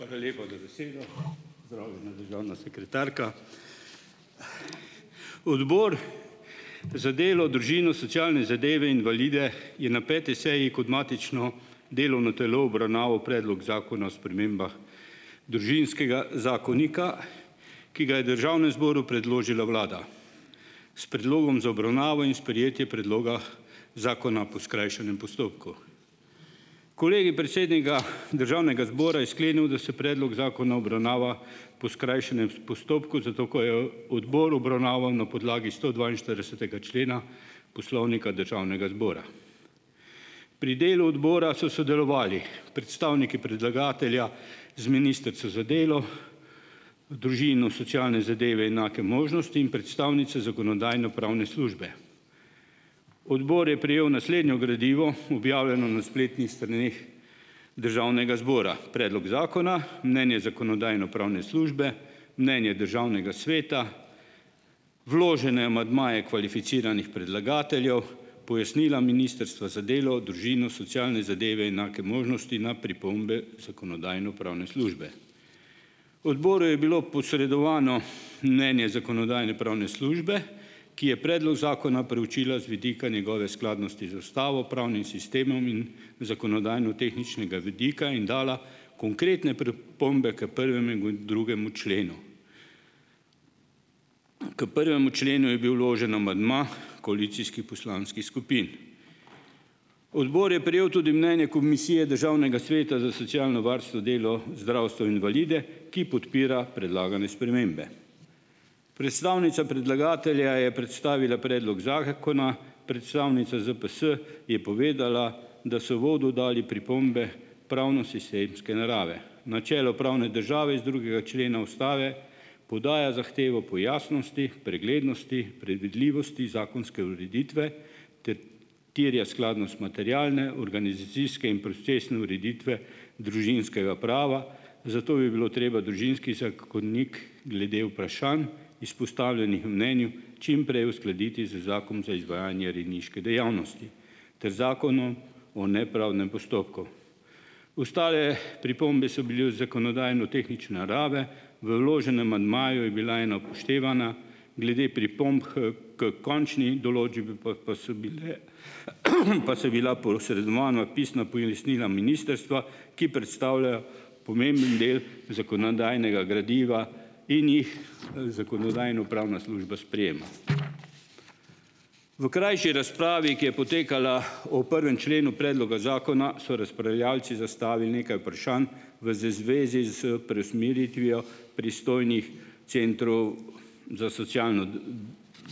Hvala lepa za besedo. Pozdravljena, državna sekretarka! Odbor za delo, družino, socialne zadeve invalide je na peti seji kot matično delovno telo obravnaval predlog Zakona o spremembah Družinskega zakonika, ki ga je državnemu zboru predložila vlada s predlogom za obravnavo in sprejetje predloga zakona po skrajšanem postopku. Kolegij predsednika državnega zbora je sklenil, da se predlog zakona obravnava po skrajšanem postopku, zato ker je odbor obravnaval na podlagi stodvainštiridesetega člena Poslovnika Državnega zbora. Pri delu odbora so sodelovali: predstavniki predlagatelja z ministrico za delo, družino, socialne zadeve enake možnosti in predstavnico Zakonodajno-pravne službe. Odbor je prejel naslednje gradivo, objavljeno na spletnih straneh državnega zbora. Predlog zakona, mnenje Zakonodajno-pravne službe, mnenje državnega sveta, vložene amandmaje kvalificiranih predlagateljev, pojasnila Ministrstva za delo, družino, socialne zadeve enake možnosti na pripombe Zakonodajno-pravne službe. Odboru je bilo posredovano mnenje Zakonodajno-pravne službe, ki je predlog zakona preučila z vidika njegove skladnosti z ustavo, pravnim sistemom in zakonodajnotehničnega vidika in dala konkretne pripombe k prvemu in k drugemu členu. Ker prvemu členu je bil vložen amandma koalicijskih poslanskih skupin. Odbor je prejel tudi mnenje Komisije Državnega sveta za socialno varstvo, delo, zdravstvo invalide, ki podpira predlagane spremembe. Predstavnica predlagatelja je predstavila predlog zakona, predstavnica ZPS je povedala, da so uvodu dali pripombe pravnosistemske narave. Načelo pravne države iz drugega člena ustave podaja zahtevo po jasnosti, preglednosti, predvidljivosti zakonske ureditve ter terja skladnost materialne, organizacijske in procesne ureditve družinskega prava, zato bi bilo treba Družinski zakonik glede vprašanj, izpostavljenih mnenju, čim prej uskladiti z Zakonom za izvajanju rejniške dejavnosti ter zakonom o o nepravdnem postopku. Ostale pripombe so bile zakonodajnotehnične narave. V vloženem amandmaju je bila ena upoštevana, glede pripomb h k končni določbi pa so bile pa so bila posredovana pisna pojasnila ministrstva, ki predstavljajo pomemben del zakonodajnega gradiva in jih Zakonodajno-pravna služba sprejema. V krajši razpravi, ki je potekala o prvem členu predloga zakona, so razpravljavci zastavil nekaj vprašanj v zvezi s preusmeritvijo pristojnih centrov za socialno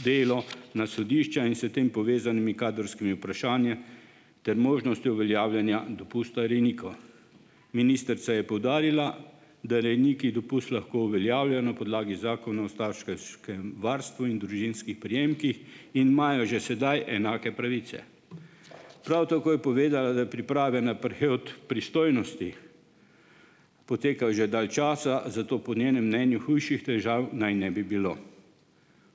delo na sodišča in s tem povezanimi kadrovskimi vprašanji ter možnostjo uveljavljanja dopusta rejnikov. Ministrica je poudarila, da rejniki dopust lahko uveljavlja na podlagi zakona o varstvu in družinskih prejemkih in imajo že sedaj enake pravice. Prav tako je povedala, da priprave naprej od pristojnosti potekajo že dalj časa, zato po njenem mnenju hujših težav naj ne bi bilo.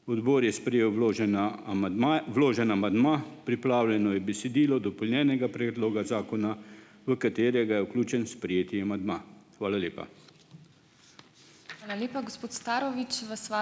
Odbor je sprejel vloženi a amandma, vloženi amandma. Pripravljeno je besedilo dopolnjenega predloga zakona, v katerega je vključen sprejeti amandma. Hvala lepa.